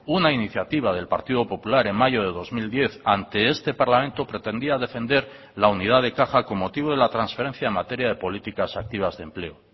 una iniciativa del partido popular en mayo de dos mil diez ante este parlamento pretendía defender la unidad de caja con motivo de la transferencia en materia de políticas activas de empleo